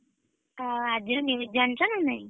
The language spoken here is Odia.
ହଁ ଆଜିର news ଜାଣିଛ ନା ନାଇଁ?